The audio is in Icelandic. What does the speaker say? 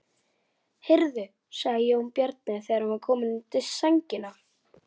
Hvíl í friði mamma mín.